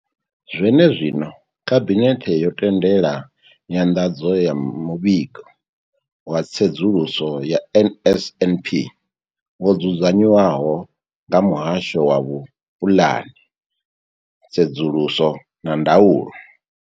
Zwene zwino, Khabinethe yo tendela nyanḓadzo ya Muvhigo wa Tsedzuluso ya NSNP wo dzudzanywaho nga Muhasho wa Vhupulani, Tsedzuluso na Ndaulo.